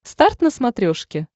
старт на смотрешке